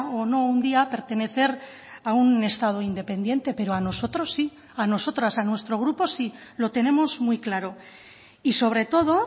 o no un día pertenecer a un estado independiente pero a nosotros sí a nosotras a nuestro grupo sí lo tenemos muy claro y sobre todo